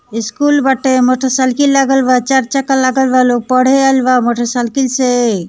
School बाटे motorcycle लागल बा चार चक्का लागल बा लोग पढ़े आएल बा मोटरसाइकिल से।